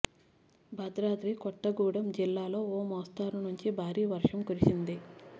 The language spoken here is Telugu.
భద్రాద్రి కొత్తగూడెం జిల్లాలో ఓ మోస్తరు నుంచి భారీ వర్షం కురిసింది